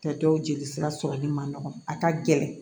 Tɛ dɔw jeli sira sɔrɔli ma nɔgɔn a ka gɛlɛn